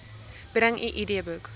bring u idboek